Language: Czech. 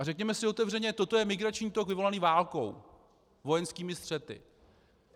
A řekněme si otevřeně, toto je migrační tok vyvolaný válkou, vojenskými střety.